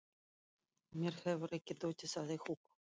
Mér hefur ekki dottið það í hug.